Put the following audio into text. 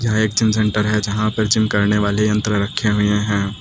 ये एक gym centre है जहां पर जिम करने वाले यंत्र रखे हुए हैं।